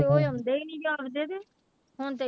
ਉਹ ਆਉਂਦੇ ਹੀ ਨੀ ਹੁਣ ਤੇ